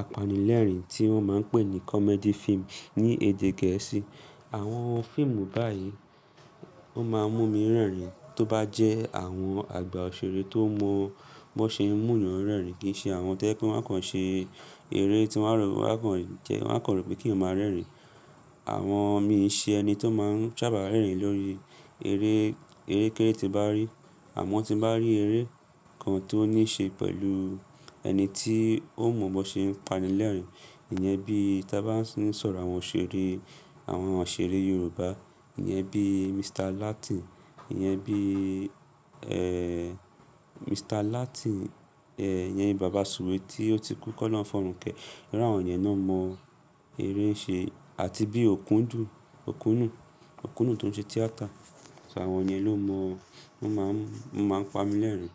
apanilẹ́rìn tí wọ́n máa ń pè ní comedy film ní èdè Gẹ̀ẹ́sì. Àwọn fíìmù báyìí ó máa ń mú mi rẹ́rìn-ín, tó bá jẹ́ àwọn àgbà òṣèré tó mọ bi won ṣeuń mu yan rẹ́rìn-ín, kì í ṣe àwọn tó jẹ pé wọ́n a kàn ṣe eré tí wọ́n a kan ró pé kí yan o máa rẹ́rìn-ín. Àmọ mi ṣe ẹni tó máa ń sábà rẹ́rìn-ín lórí eré, eré kéré tí n bá rí. Àmọ́ tí bá rí eré kan tó ní ṣe pẹ̀lú ẹni tí ó mọ bó ṣe ń pani lẹ́rìn-ín, ìyẹn bí i tí a bá ń sọ̀rọ̀ àwọn òṣèré, àwọn òṣèré Yorùbá, ìyẹn bí i Mr. Latin, ìyẹn bí i, ẹ, Mr. Latin, ẹ, ìyẹn ni bàbá Sùwé tí ó ti kú, kolohun fi ọọrun kẹ́. Iru awọn yẹn náà mọ eré ṣe àti bí i Okundun, Okùnù, Okùnù tó ń ṣe tíátà. So àwọn ìyẹn ló mọ, wọ́n máa ń, wọ́n máa ń pa mi lẹ́rìn-ín.